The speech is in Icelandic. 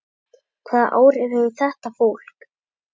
Hvaða áhrif hefur þetta fólk?